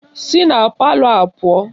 Si na palọ a pụọ!